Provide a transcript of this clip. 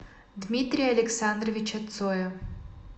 дмитрия александровича цоя